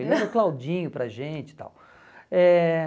Ele era Claudinho para a gente e tal. Eh